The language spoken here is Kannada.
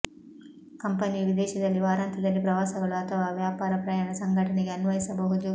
ಕಂಪನಿಯು ವಿದೇಶದಲ್ಲಿ ವಾರಾಂತ್ಯದಲ್ಲಿ ಪ್ರವಾಸಗಳು ಅಥವಾ ವ್ಯಾಪಾರ ಪ್ರಯಾಣ ಸಂಘಟನೆಗೆ ಅನ್ವಯಿಸಬಹುದು